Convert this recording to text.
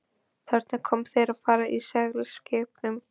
Þarna koma þeir og fara á seglskipunum.